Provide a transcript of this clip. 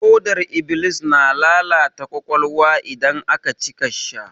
Hodar iblis na lalata ƙwaƙwalwa idan aka cika sha.